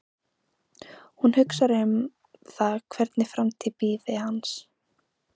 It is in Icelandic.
Hún hugsar um það hvernig framtíð bíði hans.